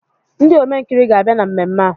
Ndị Omenkiri ga-abịa na mmemme a